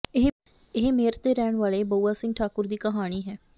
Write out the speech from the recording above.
ਇਹ ਮੇਰਠ ਦੇ ਰਹਿਣ ਵਾਲੇ ਬਉਆ ਸਿੰਘ ਠਾਕੁਰ ਦੀ ਕਹਾਣੀ ਹੈ